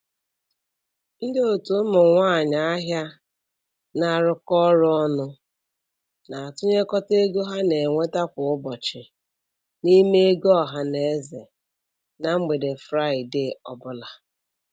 Ndị otu ụmụ nwanyị ahịa na-arụkọ ọrụ ọnụ na-atụnyekọta ego ha na-enweta kwa ụbọchị n'ime ego ọhanaeze na mgbede Fraịde ọ bụla.